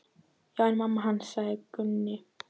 Já, en mamma hans. sagði Gunni.